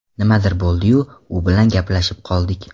Nimadir bo‘ldi-yu, u bilan gaplashib qoldik.